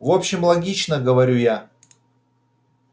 в общем логично говорю я